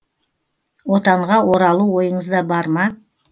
отанға оралу ойыңызда бар ма